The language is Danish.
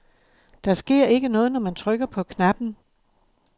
Der sker ikke noget, når man trykker på knappen.